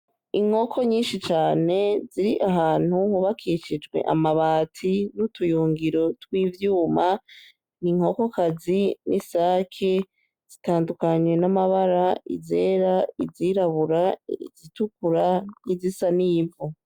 Inkoko nyishi cane ziri ahantu hubakishijwe amanati n'utuyungiro tw'ivyuma n'inkoko kazi n'isaki zitandukanye n'amabara izera, izirabura, izitukura n'izisa n'ivu.